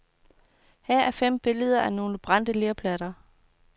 Her er fem billeder af nogle brændte lerplatter.